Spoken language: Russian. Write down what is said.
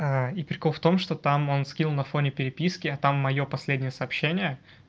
и прикол в том что там он скинул на фоне переписки а там моё последнее сообщение